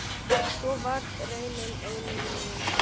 Svo varð raunin einnig nú.